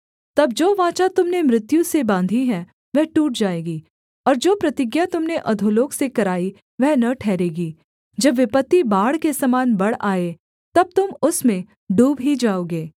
तब जो वाचा तुम ने मृत्यु से बाँधी है वह टूट जाएगी और जो प्रतिज्ञा तुम ने अधोलोक से कराई वह न ठहरेगी जब विपत्ति बाढ़ के समान बढ़ आए तब तुम उसमें डूब ही जाओगे